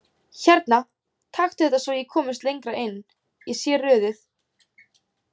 Hérna, taktu þetta svo ég komist lengra inn, ég sé rörið